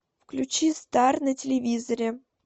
включи стар на телевизоре